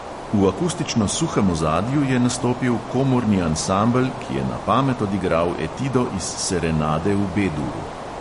V akustično suhem ozadju je nastopil komorni ansambel, ki je na pamet odigral etido iz serenade v be-duru.